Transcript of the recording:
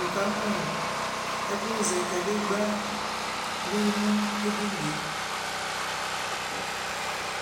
wʋ kamʋ ɛkʋ zɛ kadigba bi nʋ ɛdiniɛ